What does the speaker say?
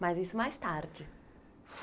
Mas isso mais tarde?